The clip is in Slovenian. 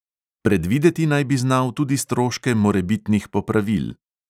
Predvideti naj bi znal tudi stroške morebitnih popravil.